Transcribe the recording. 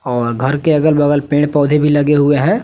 और घर के अगल बगल पेड़ पौधे भी लगे हुए हैं।